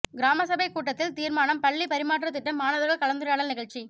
கிராமசபை கூட்டத்தில் தீர்மானம் பள்ளி பரிமாற்றத் திட்டம் மாணவர்கள் கலந்துரையாடல் நிகழ்ச்சி